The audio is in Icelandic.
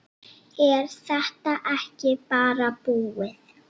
Er þetta ekki bara búið?